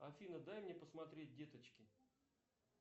афина дай мне посмотреть деточки